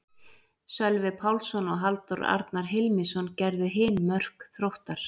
Sölvi Pálsson og Halldór Arnar Hilmisson gerðu hin mörk Þróttar.